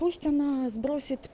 пусть она сбросит